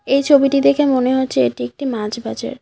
এই ছবিটি দেখে মনে হচ্ছে এটি একটি মাছ বাজার।